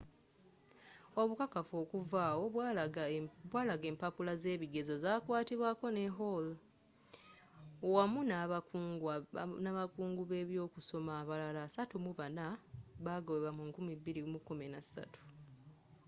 obukakafu okuva awo bwalaga empapula z'ebigezo za kwatibwaako ne hall wamu n'abakungu b'ebyokusoma abalala 34 bagobwa mu 2013